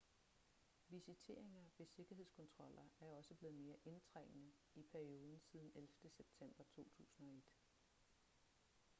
visiteringer ved sikkerhedskontroller er også blevet mere indtrængende i perioden siden 11. september 2001